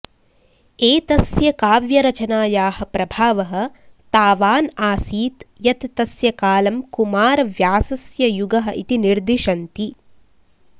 एतस्य काव्यरचनायाः प्रभावः तावान् आसीत् यत् तस्य कालं कुमारव्यासस्य युगः इति निर्दिशन्ति